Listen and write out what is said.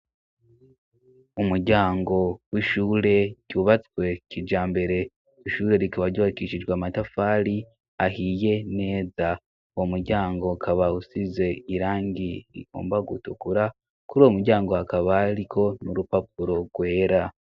Umuryango w'ishure ryubatswe kijambere, ishure rikaba ryubakishijwe amatafari ahiye neza. Uwo muryango ukaba usize irangi rigomba gutukura, kuri uwo muryango hakaba hariko n'urupapuro rwera.